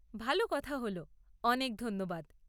ভাল কথা হল! অনেক ধন্যবাদ!